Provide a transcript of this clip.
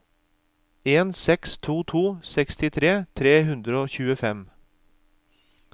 en seks to to sekstitre tre hundre og tjuefem